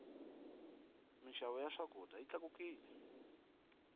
mixavo ya swakudya yi tlakukile